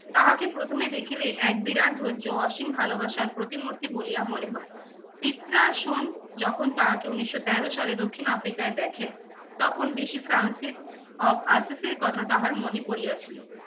তাহাকে প্রথমে দেখিলে এক বিরাট ধৈর্য, অসীম ভালোবাসার প্রতিমূতি বলিয়া মনে হয়। পিত্রাসন যখন তাহাকে উনিশশো তেরো সালে দক্ষিণ আফ্রিকায় দেখেন তখন ফ্রান্সের অ~ কথা তাহার মনে পড়িয়াছিল।